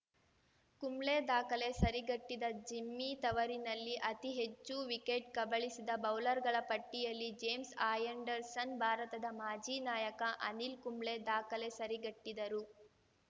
ಕುಂಬ್ಳೆ ದಾಖಲೆ ಸರಿಗಟ್ಟಿದ ಜಿಮ್ಮಿ ತವರಿನಲ್ಲಿ ಅತಿಹೆಚ್ಚು ವಿಕೆಟ್‌ ಕಬಳಿಸಿದ ಬೌಲರ್‌ಗಳ ಪಟ್ಟಿಯಲ್ಲಿ ಜೇಮ್ಸ್‌ ಆ್ಯಂಡರ್‌ಸನ್‌ ಭಾರತದ ಮಾಜಿ ನಾಯಕ ಅನಿಲ್‌ ಕುಂಬ್ಳೆ ದಾಖಲೆ ಸರಿಗಟ್ಟಿದರು